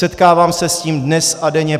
Setkávám se s tím dnes a denně.